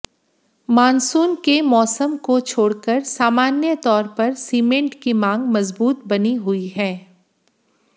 monsoon के मौसम को छोड़कर सामान्य तौर पर सीमेंट की मांग मजबूत बनी हुई है